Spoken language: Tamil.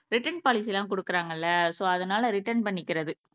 ரிட்டன் பாலிசி எல்லாம் குடுக்குறாங்கல்ல சோ அதுனால ரிட்டன் பண்ணிக்குறது